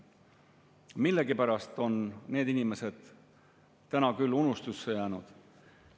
Millegipärast on need inimesed täna küll unustusse jäänud.